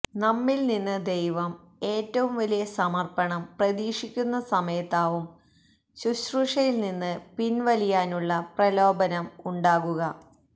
നമ്മിൽനിന്ന് ദൈവം ഏറ്റവും വലിയ സമർപ്പണം പ്രതീക്ഷിക്കുന്ന സമയത്താവും ശുശ്രൂഷയിൽനിന്ന് പിൻവലിയാനുള്ള പ്രലോഭനം ഉണ്ടാകുക